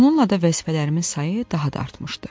Bununla da vəzifələrimin sayı daha da artmışdı.